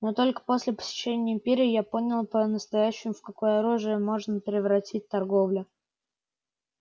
но только после посещения империи я понял по-настоящему в какое оружие можно превратить торговлю